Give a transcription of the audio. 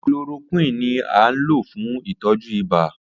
Chloroquine ni a lo fun itọju ibà.